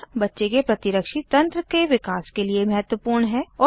और बच्चे के प्रतिरक्षी तंत्र के विकास के लिए महत्वपूर्ण है